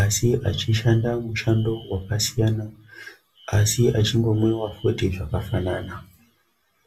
asi achishanda mushando wakasiyana asi achingomwiwa futi zvakafanana.